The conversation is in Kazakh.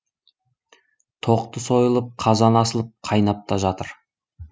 тоқты сойылып қазан асылып қайнап та жатыр